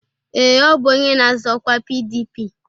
Ee, ọ bụ onye na-azọ ọkwa PDP